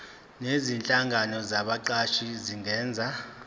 nezinhlangano zabaqashi zingenza